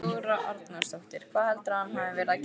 Þóra Arnórsdóttir: Hvað heldurðu að hann hafi verið að gera?